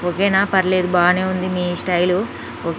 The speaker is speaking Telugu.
ఓకే నా పర్లేదు బానే ఉంది మీ స్టైల్ --.